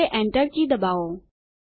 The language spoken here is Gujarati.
હવે Enter કી દબાવો